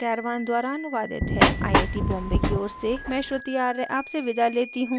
यह स्क्रिप्ट देवेन्द्र कैरवान द्वारा अनुवादित है आई आई टी बॉम्बे की ओर से मैं श्रुति आर्य आपसे विदा लेती हूँ